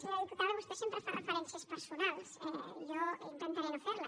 senyora diputada vostè sempre fa referències personals jo intentaré no fer les